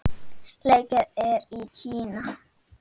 Leikið er í Kína.